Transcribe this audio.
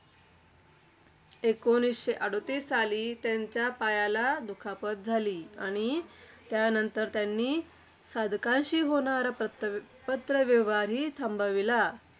एकोणीसशे अडतीस साली त्यांच्या पायाला दुखापत झाली. आणि त्यानंतर त्यांनी साधकांशी होणारा पत्र~ पत्रव्यवहारही थांबविला.